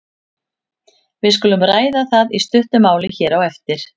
Við skulum ræða það í stuttu máli hér á eftir.